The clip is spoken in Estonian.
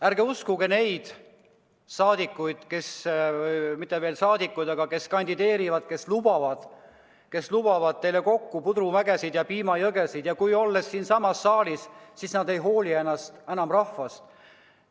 Ärge uskuge alati neid inimesi, kes kandideerivad ja lubavad teile pudrumägesid ja piimajõgesid, ent kui nad on siinsamas saalis, siis nad ei hooli enam rahvast.